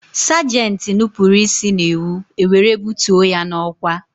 Sagenti nupụrụ isi n'iwu, e were bụtuo ya n'ọkwá